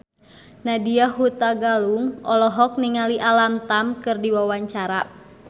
Nadya Hutagalung olohok ningali Alam Tam keur diwawancara